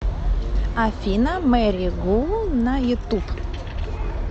афина мэри гу на ютуб